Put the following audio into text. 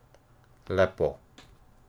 Lepo.